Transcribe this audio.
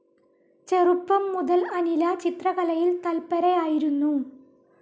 ചെറുപ്പം മുതൽ അനില ചിത്രകലയിൽ തൽപ്പരയായിരുന്നു.